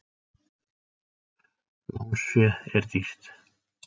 Lánsfé er dýrt.